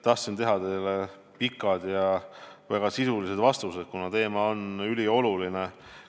Tahtsin anda pikad ja väga sisulised vastused, kuna teema on ülioluline.